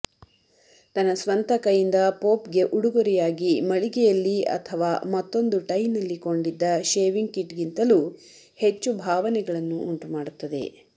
ತನ್ನ ಸ್ವಂತ ಕೈಯಿಂದ ಪೋಪ್ಗೆ ಉಡುಗೊರೆಯಾಗಿ ಮಳಿಗೆಯಲ್ಲಿ ಅಥವಾ ಮತ್ತೊಂದು ಟೈನಲ್ಲಿ ಕೊಂಡಿದ್ದ ಷೇವಿಂಗ್ ಕಿಟ್ಗಿಂತಲೂ ಹೆಚ್ಚು ಭಾವನೆಗಳನ್ನು ಉಂಟುಮಾಡುತ್ತದೆ